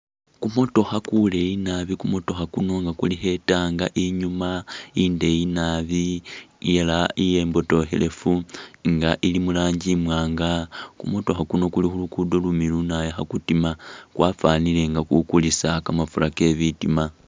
Kumotokha kuleyi nabi kumotokha kuno nga kulikho ii’tank inyuma indeyi nabi ela imbotokhelefu nga ili murangi iwanga ,kumotokha kuno kuli khulugudo lumiliyu nabi khakutima kwafanile nga kukulisa kamafura ke’bitima.